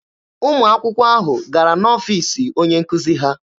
Ụmụ akwụkwọ ahụ gara n'ọfiisi onye nkuzi ha.